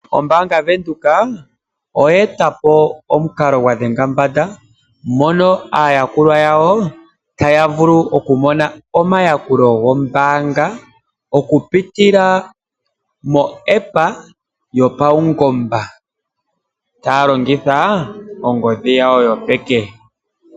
Ombaanga Venduka lya eta po omukalo gwa dhenga mbanda mono aayakulwa yawo taya vulu okumona omayakulo gombaanga, mokupitila mo'app' yopaungomba taya longitha ongodhi yawo yopeke.